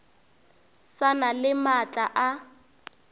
sa na le maatla a